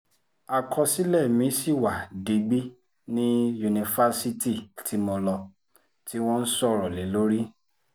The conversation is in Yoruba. àkọsílẹ̀ mi ṣì wà digbí ní yunifásitì tí mo lọ tí wọ́n ń sọ̀rọ̀ lé lórí